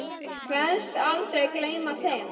Kveðst aldrei gleyma þeim.